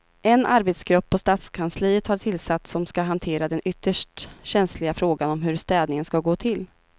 En arbetsgrupp på stadskansliet har tillsatts som ska hantera den ytterst känsliga frågan om hur städningen ska gå till.